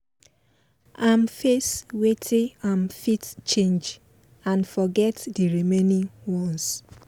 im face wetin im fit change and forget d remaining ones